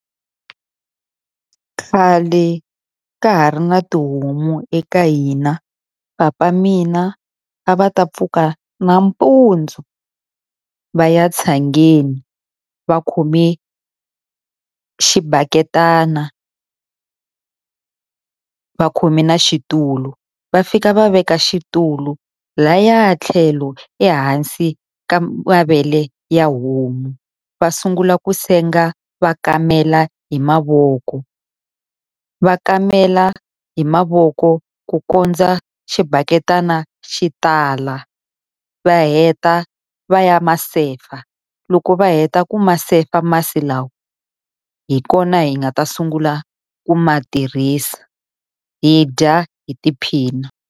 Khale ka ha ri na tihomu eka hina, papa mina a va ta pfuka nampundzu va ya tshangeni, va khome xibaketani, va khome na xitulu. Va fika va veka xitulu lahaya tlhelo ehansi ka mavele ya homu, va sungula ku senga va kamela hi mavoko. Va kamela hi mavoko ku kondza xibaketani xi tala. Va heta va ya ma sefa, loko va heta ku ma sefa masi lawa hi kona hi nga ta sungula ku ma tirhisa, hi dya hi tiphina.